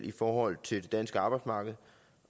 i forhold til det danske arbejdsmarked